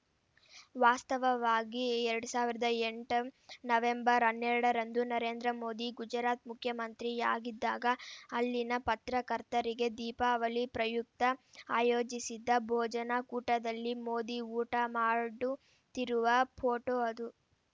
ವಾಸ್ತವವಾಗಿ ಎರಡ್ ಸಾವಿರದ ಎಂಟಂ ನವೆಂಬರ್‌ ಹನ್ನೆರಡರಂದು ನರೇಂದ್ರ ಮೋದಿ ಗುಜರಾತ್‌ ಮುಖ್ಯಮಂತ್ರಿಯಾಗಿದ್ದಾಗ ಅಲ್ಲಿನ ಪತ್ರಕರ್ತರಿಗೆ ದೀಪಾವಳಿ ಪ್ರಯುಕ್ತ ಆಯೋಜಿಸಿದ್ದ ಬೋಜನ ಕೂಟದಲ್ಲಿ ಮೋದಿ ಊಟ ಮಾಡುತ್ತಿರುವ ಫೋಟೋ ಅದು